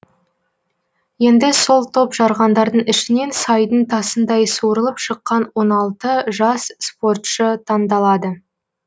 енді сол топ жарғандардың ішінен сайдың тасындай суырылып шыққан он алты жас спортшы таңдалады